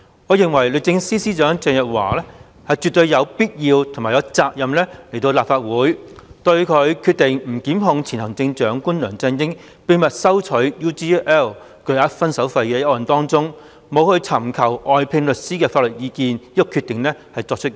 我認為，律政司司長鄭若驊絕對有必要和有責任前來立法會，交代她就前行政長官梁振英秘密收取 UGL Limited 巨額"分手費"作出不檢控決定前拒絕尋求外聘律師法律意見一事。